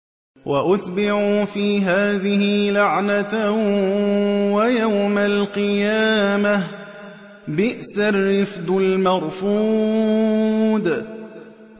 وَأُتْبِعُوا فِي هَٰذِهِ لَعْنَةً وَيَوْمَ الْقِيَامَةِ ۚ بِئْسَ الرِّفْدُ الْمَرْفُودُ